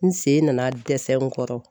N sen nana dɛsɛ n kɔrɔ.